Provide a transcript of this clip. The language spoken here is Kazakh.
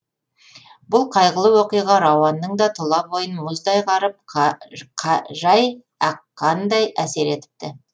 бұл қайғылы оқиға рауанның да тұла бойын мұздай қарып жай аққандай әсер етіпті